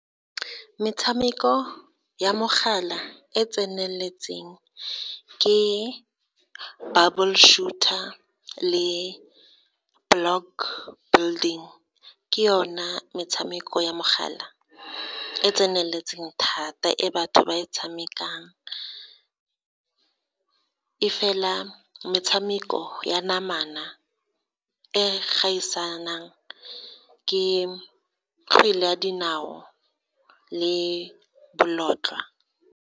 Metshameko ya mogala e tseneletseng ke Bubble Shooter le Block Building, ke yona metshameko ya mogala e tseneletseng thata e batho ba e tshamekang, e fela metshameko ya namana e gaisanang ke kgwele ya dinao le bolotloa.